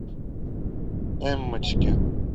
эммочке